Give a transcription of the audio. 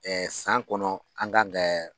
san kɔnɔ an kan kɛ